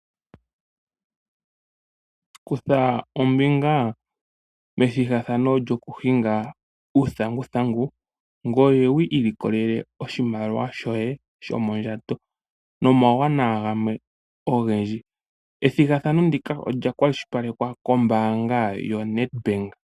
Kutha ombinga methigathano lyokuhinga uuthanguthangu ngoye wu ilikolele oshimaliwa shoye shomondjato nomawuwanawa gamwe ogendji. Ethigathano ndika olya kwashilipalekwa koombanga yo Netbank.